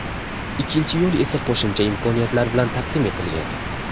Ikkinchi yo‘l esa qo‘shimcha imkoniyatlar bilan taqdim etilgan.